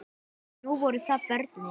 Nú voru það börnin.